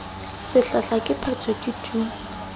sehlahla ke phetho ke tu